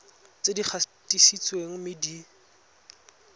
tse di gatisitsweng mme di